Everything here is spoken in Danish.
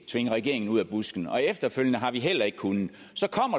tvinge regeringen ud af busken og efterfølgende har vi heller ikke kunnet